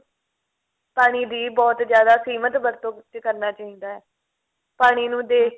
ਪਾਣੀ ਦੀ ਬਹੁਤ ਜਿਆਦਾ ਸੀਮਤ ਵਰਤੋਂ ਵਿੱਚ ਕਰਨਾ ਚਾਹੀਦਾ ਹੈ ਪਾਣੀ ਨੂੰ ਦੇਖ